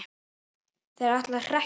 Þeir ætluðu að hrekkja okkur